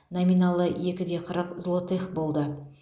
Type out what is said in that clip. номиналы екі де қырық злотых болды